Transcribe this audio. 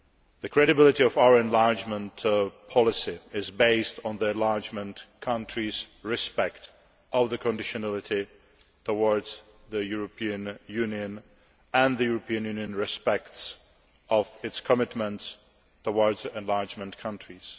The credibility of our enlargement policy is based on the enlargement countries respecting the conditionality towards the European Union and the European Union respecting its commitment towards the enlargement countries.